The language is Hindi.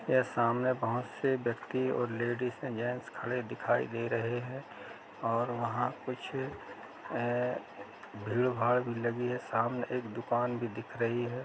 ये सामने बहुत से व्यक्ति और लडीजे जेन्स खड़े दिखाई दे रहे हैं और वहाँ कुछ ए-भीड़ भाड़ भी लगी है सामने एक दुकान भी दिख रही है।